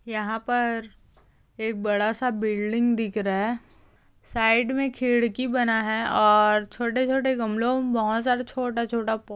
यहाँ पर एक बड़ा सा बिल्डिंग दिखरा है साइड मे खिड़की बना है और छोटे छोटे गमोलो बहुत सारे छोटा छोटा फू--